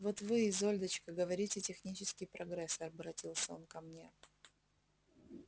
вот вы изольдочка говорите технический прогресс обратился он ко мне